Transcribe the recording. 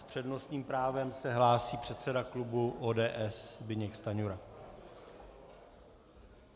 S přednostním právem se hlásí předseda klubu ODS Zbyněk Stanjura.